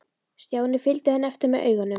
Stjáni fylgdu henni eftir með augunum.